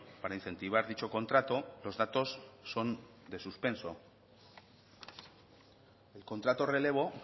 para incentivar dicho contrato los datos son de suspenso el contrato relevo